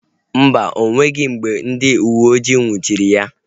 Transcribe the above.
Mba, o nweghị mgbe ndị uweojii nnwuchiri ya